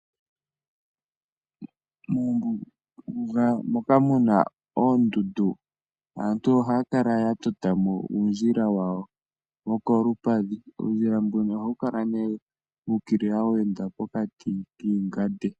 Mombuga moka muna oondundu aantu oha ya kala ye na mo uundjila wawo wo kolupadhi . Uundjila mbuno ohawu kala wu ukilia we enda pokati kiihwa.